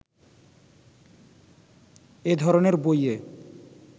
এ ধরনের বইয়ে